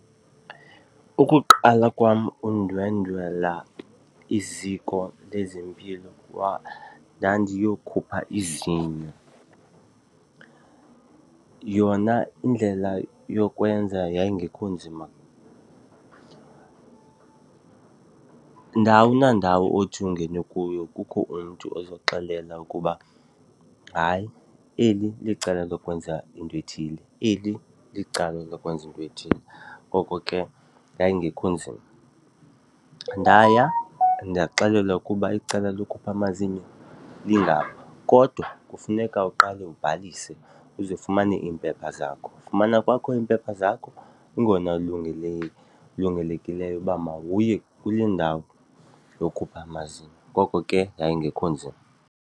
Ukuqala kwam undwendwela iziko lezempilo ndandiyokhupha izinyo. Yona indlela yokwenza yayingekho nzima, ndawo nandawo othi ungene kuyo kukho umntu ozokuxelela ukuba hayi eli licala lokwenza into ethile, eli licala lokwenza into ethile, ngoko ke yayingekho nzima. Ndaya ndaxelelwa ukuba icala lokukhupha amazinyo lingapha kodwa kufuneka uqale ubhalise uze ufumane iimpepha zakho. Ufumana kwakho iimpepha zakho kungona kulungelekileyo uba mawuye kule ndawo yokhupha amazinyo. Ngoko ke yayingekho nzima.